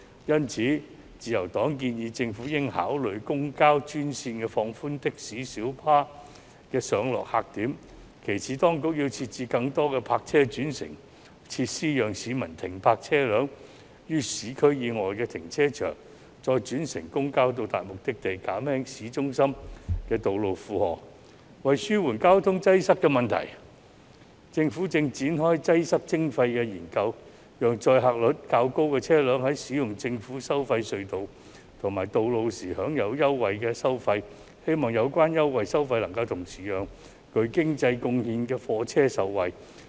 因此，自由黨建議政府應考慮設"公交專線"，放寬的士及小巴的上落客點。其次，當局要設置更多泊車轉乘設施，讓市民停泊車輛於市區以外的停車場，再轉乘公交到達目的地，減輕市中心的道路負荷。為紓緩交通擠塞的問題，政府正展開擠塞徵費的研究，讓載客率較高的車輛在使用政府收費隧道及道路時享有優惠收費，希望有關優惠收費能同時讓具經濟貢獻的貨車受惠。